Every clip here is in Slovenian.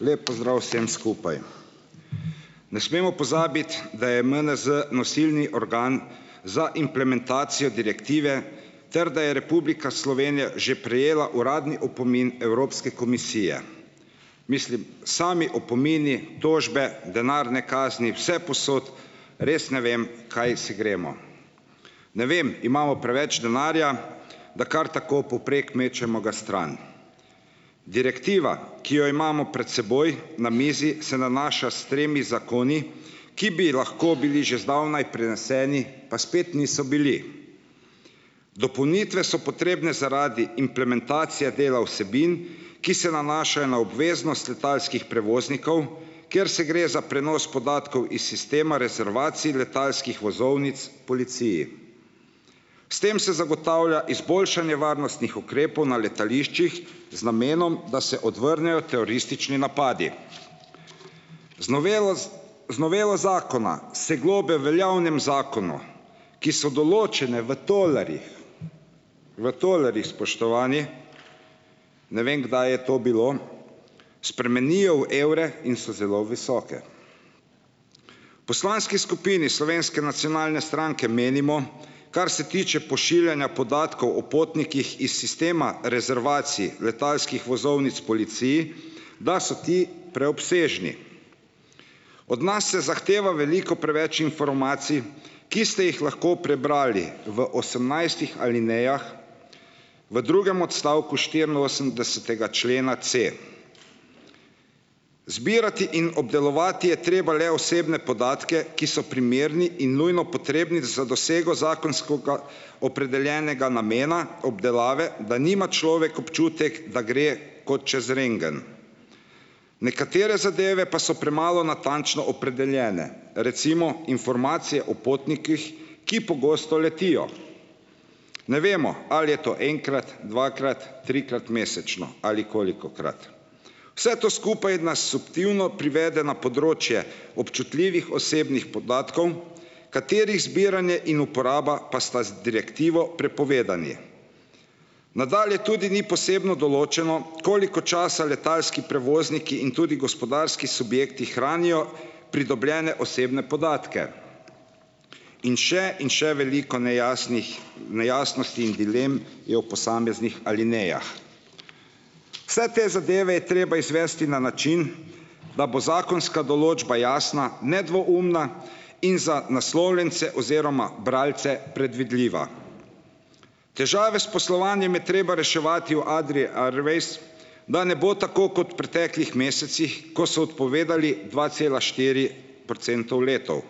Lep pozdrav vsem skupaj. Ne smemo pozabiti, da je MNZ nosilni organ za implementacijo direktive ter da je Republika Slovenija že prejela uradni opomin Evropske komisije, mislim, sami opomini, tožbe, denarne kazni vsepovsod, res ne vem, kaj se gremo, ne vem, imamo preveč denarja, da kar tako povprek mečemo ga stran, direktiva, ki jo imamo pred seboj na mizi, se nanaša s tremi zakoni, ki bi lahko bili že zdavnaj prineseni, pa spet niso bili, dopolnitve so potrebne zaradi implementacije dela vsebin, ki se nanašajo na obveznost letalskih prevoznikov, ker se gre za prenos podatkov iz sistema rezervacij letalskih vozovnic policiji, s tem se zagotavlja izboljšanje varnostnih ukrepov na letališčih z namenom, da se odvrnejo teroristični napadi, z novelo z z novelo zakona se globe veljavnem zakonu, ki so določene v tolarjih, v tolarjih, spoštovani, ne vem, kdaj je to bilo, spremenijo v evre in so zelo visoke. Poslanski skupini Slovenske nacionalne stranke menimo, kar se tiče pošiljanja podatkov o potnikih iz sistema rezervacij letalskih vozovnic policiji, da so ti preobsežni, od nas se zahteva veliko preveč informacij, ki ste jih lahko prebrali v osemnajstih alinejah v drugem odstavku štiriinosemdesetega člena C, zbirati in obdelovati je treba le osebne podatke, ki so primerni in nujno potrebni za dosego zakonskega opredeljenega namena obdelave, da nima človek občutek, da gre kot čez rentgen, nekatere zadeve pa so premalo natančno opredeljene, recimo informacije o potnikih, ki pogosto letijo, ne vemo, ali je to enkrat, dvakrat, trikrat, mesečno ali kolikokrat, vse to skupaj nas subtilno privede na področje občutljivih osebnih podatkov, katerih zbiranje in uporaba pa sta z direktivo prepovedani. Nadalje tudi ni posebno določeno, koliko časa letalski prevozniki in tudi gospodarski subjekti hranijo pridobljene osebne podatke, in še in še veliko nejasnih nejasnosti in dilem je v posameznih alinejah. Vse te zadeve je treba izvesti na način, da bo zakonska določba jasna nedvoumna in za naslovljence oziroma bralce predvidljiva. Težave s poslovanjem je treba reševati o Adrii Airways, da ne bo tako kot preteklih mesecih, ko so odpovedali dva cela štiri procentov letal,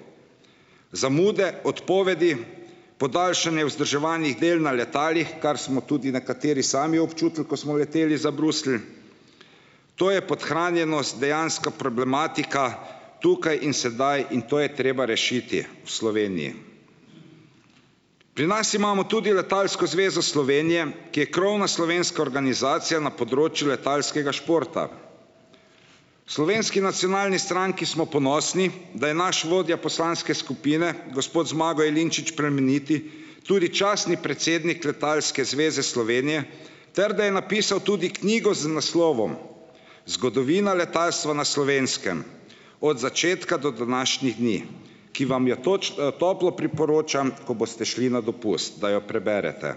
zamude, odpovedi, podaljšanje vzdrževalnih del na letalih, kar smo tudi nekateri sami občutili, ko smo leteli za Bruselj, to je podhranjenost dejanska problematika tukaj in sedaj in to je treba rešiti v Sloveniji, pri nas imamo tudi Letalsko zvezo Slovenije, ki je krovna slovenska organizacija na področju letalskega športa. Slovenski nacionalni stranki smo ponosni, da je naš vodja poslanske skupine gospod Zmago Jelinčič Plemeniti tudi častni predsednik Letalske zveze Slovenije ter da je napisal tudi knjigo z naslovom Zgodovina letalstva na Slovenskem od začetka do današnjih dni, ki vam jo toplo priporočam, ko boste šli na dopust, da jo preberete,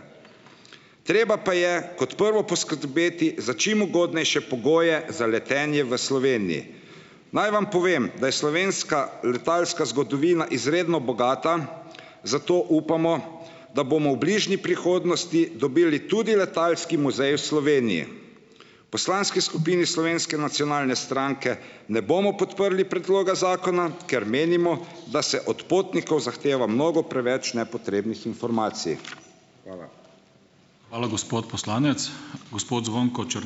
treba pa je kot prvo poskrbeti za čim ugodnejše pogoje za letenje v Sloveniji, naj vam povem, da je slovenska letalska zgodovina izredno bogata, zato upamo da bomo v bližnji prihodnosti dobili tudi letalski muzej v Sloveniji. Poslanski skupini Slovenske nacionalne stranke ne bomo podprli predloga zakona, ker menimo, da se od potnikov zahteva mnogo preveč nepotrebnih informacij, hvala. Hvala, gospod poslanec, gospod Zvonko ...